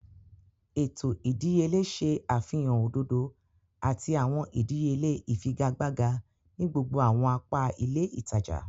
Eto ìdíyelé ṣe àfihàn òdodo àti awọn ìdíyelé ifigagbaga ni gbogbo awọn apa ilé ìtàjà.